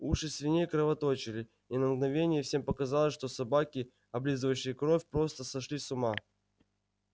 уши свиней кровоточили и на мгновение всем показалось что собаки облизывающие кровь просто сошли с ума